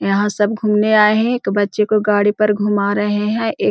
यहाँ सब घूमने आये है एक बच्चे को गाड़ी पर घुमा रहे है एक --